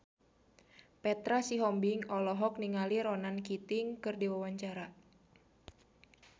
Petra Sihombing olohok ningali Ronan Keating keur diwawancara